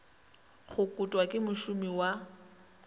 go kotwa ke mošomi wa